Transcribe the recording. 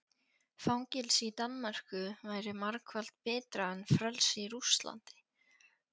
Fangelsi í Danmörku væri margfalt betra en frelsi í Rússlandi.